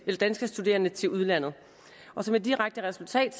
danske studerende til udlandet og som et direkte resultat